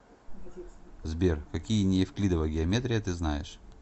сбер какие неевклидова геометрия ты знаешь